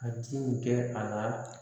A ti nin kɛ a la